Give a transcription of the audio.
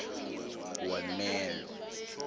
warmelo